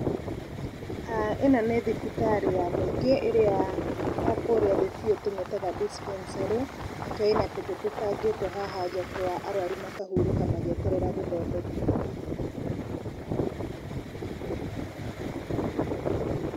ĩno nĩ thibitari ya mũingĩ ĩrĩa ya kũrĩa thĩ biũ tũmĩtaga dispensary , nĩkĩo ĩna tũtĩ tũbangĩtwo haha nja twa arwaru makahurũka magĩeterera gũthondekwo.